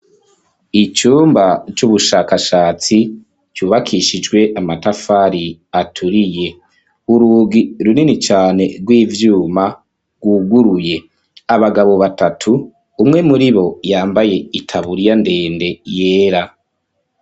Icumba, c’ubushakashatsi, cubakishijwe amatafari aturiye; urugi runini cane rw'ivyuma, rwuguruye; abagabo batatu, umwe muri bo, yambaye itaburiya ndende, yera.